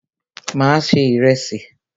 Mà á se ìrẹsì.